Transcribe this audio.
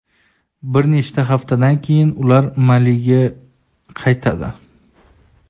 Bir necha haftadan keyin ular Maliga qaytadi.